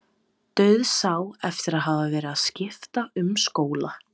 Dauðsá eftir að hafa verið að skipta um skóla.